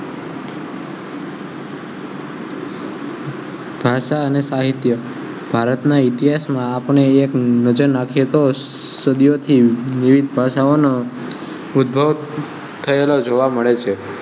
ભાષા અને સાહિત્ય ભારત ના ઇતિહાસ મા આપણે એક નજર નાખીએ તો સદીયો થી દ્રિપ ભાષાઓ ઓનો ઉધ્ભવ થયેલો જોવા મળે છે.